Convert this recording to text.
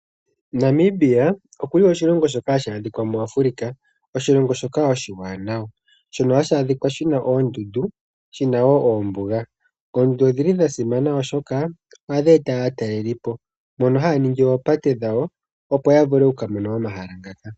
Namibia okuli oshilongo shoka hashi adhika mu Africa ,oshilongo shika oshiwanawa shono hashi adhika shina oondundu shina woo oombuga . Oondundu odhili dhasimana oshoka ohadhi eta aatalelipo mono haya ningi oopate dhawo opo yavule oku mona omahala ngaka.